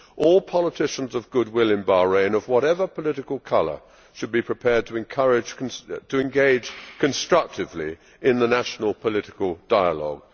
All politicians of good will in Bahrain, of whatever political colour, should be prepared to engage constructively in the national political dialogue.